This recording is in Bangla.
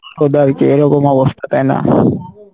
এরকম অবস্থা, তাই না?